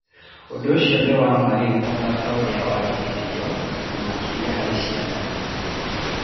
Ũndũ ũcio nĩ wa ma rĩu o ta ũrĩa warĩ hĩndĩ ĩyo, na makĩria harĩ ciana.